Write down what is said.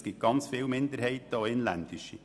Es gibt ganz viele Minderheiten, auch inländische.